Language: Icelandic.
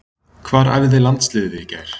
Hvar æfði landsliðið í gær?